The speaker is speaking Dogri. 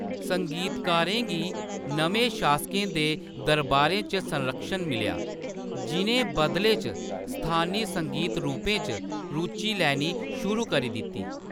संगीतकारें गी नमें शासकें दे दरबारें च संरक्षण मिलेआ, जि'नें बदले च स्थानी संगीत रूपें च रुचि लैनी शुरू करी दित्ती।